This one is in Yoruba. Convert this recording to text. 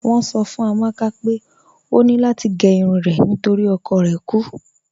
Wọn sọ̀ fún Amàkà pé ọ ní lati gé irun rẹ̀ nítorí ọkọ̀ rẹ̀ kú